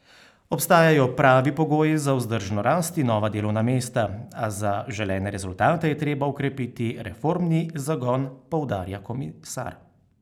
Obstajajo pravi pogoji za vzdržno rast in nova delovna mesta, a za želene rezultate je treba okrepiti reformni zagon, poudarja komisar.